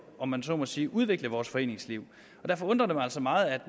om man så må sige udvikle vores foreningsliv derfor undrer det mig altså meget at